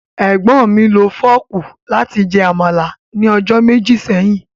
Egbọn mi lo fọọku lati jẹ́ Amala ni ọjọ meji seyin.